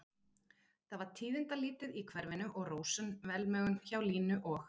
Það var tíðindalítið í hverfinu og rósöm velmegun hjá Línu og